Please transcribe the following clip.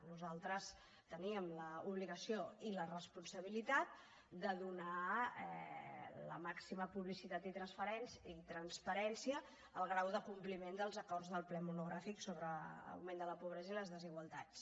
nosaltres teníem l’obligació i la responsabilitat de donar la màxima publicitat i transparència al grau de compliment dels acords del ple monogràfic sobre l’augment de la pobresa i les desigualtats